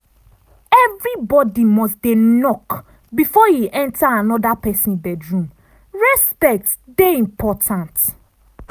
everybody must dey knock before e enter anoda pesin bedroom respect dey important.